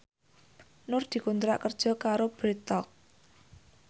Nur dikontrak kerja karo Bread Talk